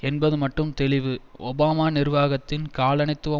என்பது மட்டும் தெளிவு ஒபாமா நிர்வாகத்தின் காலனித்துவ